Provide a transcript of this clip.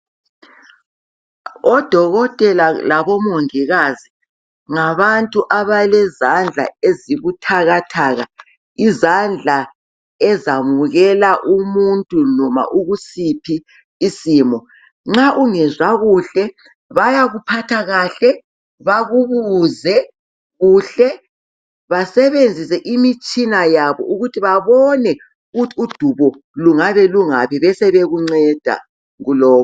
Odokotela labomongikazi ngabantu abalezandla ezibuthakathaka, izandla ezamukela umuntu noma ukusindisa isimo. Nxa ungezwa kuhle, bayakuphatha kuhle, bakubuze kuhle basebenzise imitshina yabo ukuthi babone ukuthi udubo lungabe lungaphi besebekunceda kulokho.